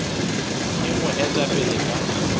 e mo eta pele ka